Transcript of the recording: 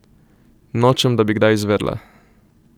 Nočem, da bi kdaj izvedela.